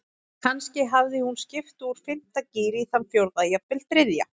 Kannski hafði hún skipt úr fimmta gír í þann fjórða, jafnvel þriðja.